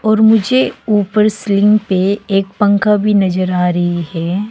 और मुझे ऊपर सीलिंग पे एक पंखा भी नजर आ रही है।